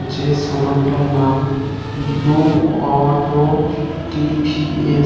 যে শোরুম টার নাম ।